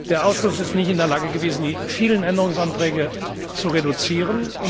Der Ausschuss war nicht in der Lage, die vielen Änderungsanträge zu reduzieren.